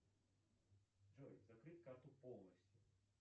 джой закрыть карту полностью